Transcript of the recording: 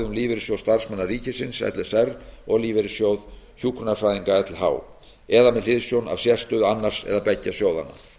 lífeyrissjóð starfsmanna ríkisins l s r og lífeyrissjóð hjúkrunarfræðinga lh eða með hliðsjón af sérstöðu annars eða beggja sjóðanna